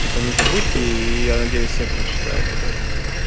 типа не забудьте и я надеюсь все прочитают об этом